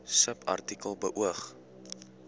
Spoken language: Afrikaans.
subartikel beoog